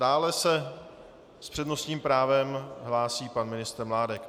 Dále se s přednostním právem hlásí pan ministr Mládek.